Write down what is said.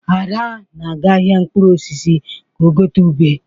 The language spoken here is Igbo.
Ada na-aga ahịa mkpụrụ osisi ka ọ gote ube.